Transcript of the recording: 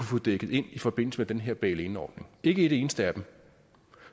få dækket ind i forbindelse med den her bailinordning ikke et eneste af dem